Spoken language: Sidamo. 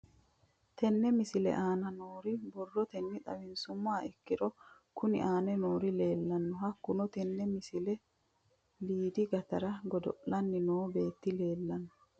Tenne misile aana noore borrotenni xawisummoha ikirro kunni aane noore leelishano. Hakunno tinni misile liddi gitaare goddo'lanni noo beeto leelishshano.